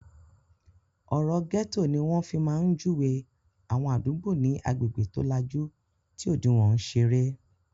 Ọ̀rọ́ 'gẹ́tò' ní wọ́n fi máa ń júwe àwọn àdúgbò ní agbègbè tó lajú tí òdiwọ́n ń ṣeré